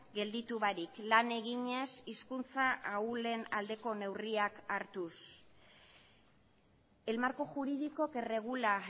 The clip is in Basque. gelditu barik lan eginez hizkuntza ahulen aldeko neurriak hartuz el marco jurídico que regula